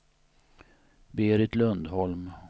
Berit Lundholm